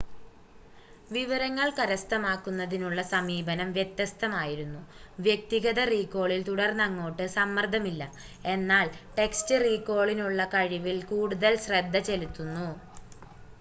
വിവരങ്ങൾ കരസ്ഥമാക്കുന്നതിനുള്ള സമീപനം വ്യത്യസ്തമായിരുന്നു വ്യക്തിഗത റീകോളിൽ തുടർന്നങ്ങോട്ട് സമ്മർദ്ദമില്ല എന്നാൽ ടെക്‌സ്റ്റ് റീകോളിനുള്ള കഴിവിൽ കൂടുതൽ ശ്രദ്ധ ചെലുത്തുന്നു